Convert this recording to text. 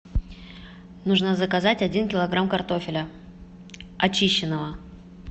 нужно заказать один килограмм картофеля очищенного